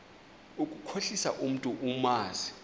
ukukhohlisa umntu omazi